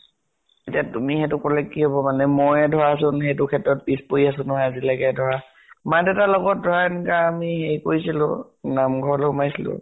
এতিয়া তুমি সেইটো কলে কি হব মানে মই ধৰা চোন সেইটো ক্ষেত্ৰত পিছ পৰি আছো নহয় আজিলৈকে। ধৰা মা দেউতাৰ লগত ধৰা আমি হেই কৰিছিলো, নাম ঘৰলৈ সোমাইছিলো